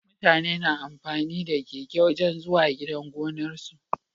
Mutane na amfani da keke wajan zuwa gidan gonar su